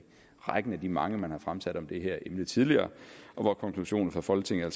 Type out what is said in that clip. rækken af de mange man har fremsat om det her emne tidligere og hvor konklusionen fra folketinget